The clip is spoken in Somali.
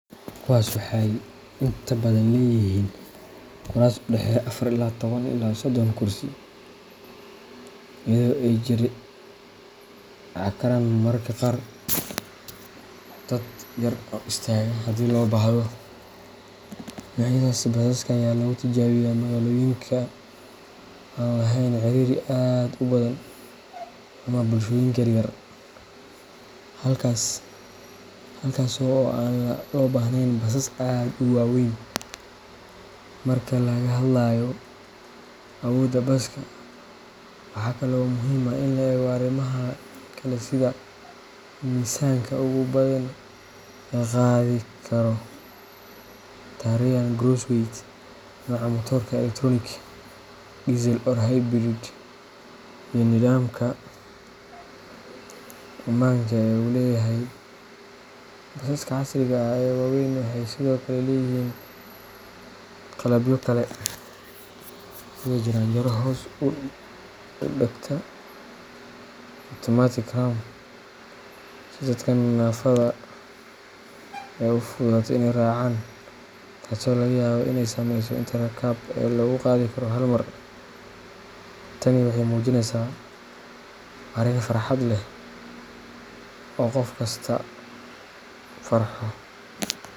Kuwaas waxay inta badan leeyihiin kuraas u dhexeeya afar iyo toban ilaa sodon kursi, iyadoo ay jiri karaan mararka qaar dad yar oo istaaga haddii loo baahdo. Noocyadaasi basaska ayaa lagu tijaabiyaa magaalooyinka aan lahayn ciriiri aad u badan ama bulshooyinka yaryar halkaasoo aan loo baahneyn basas aad u waaweyn. Marka laga hadlayo awoodda baska, waxaa kale oo muhiim ah in la eego arrimaha kale sida miisaanka ugu badan ee uu qaadi karo tare and gross weight, nooca matoorka elektaroonik, diesel or hybrid, iyo nidaamka ammaanka ee uu leeyahay. Basaska casriga ah ee waaweyn waxay sidoo kale leeyihiin qalabyo kale sida jaranjaro hoos u dagta automatic ramp si dadka naafada ah u fududaato in ay raacaan, taasoo laga yaabo in ay saameyso inta rakaab ee lagu qaadi karo hal mar. Tani waxey mujinesa arin farxad leh oo qof kasta farxo.